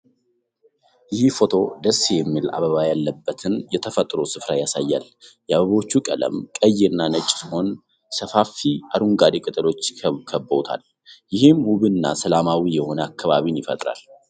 ይህ ፎቶ ደስ የሚል አበባ ያለበትን የተፈጥሮ ስፍራ ያሳያል። የአበቦቹ ቀለም ቀይ እና ነጭ ሲሆን፥ ሰፋፊ አረንጓዴ ቅጠሎች ከበውታል። ይህም ውብ እና ሰላማዊ የሆነ አካባቢን ይፈጥራል።